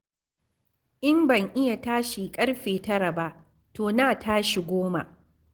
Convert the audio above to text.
In ban iya tashi ƙarfe 9 ba, to na tashi 10.